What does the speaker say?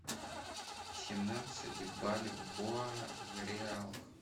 семнадцать бальбоа в реалах